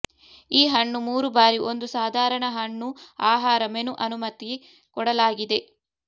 ಈ ಹಣ್ಣು ಮೂರು ಬಾರಿ ಒಂದು ಸಾಧಾರಣ ಹಣ್ಣು ಆಹಾರ ಮೆನು ಅನುಮತಿ ಕೊಡಲಾಗಿದೆ